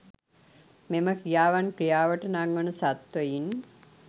මෙම ක්‍රියාවන් ක්‍රියාවට නංවන සත්ත්වයින්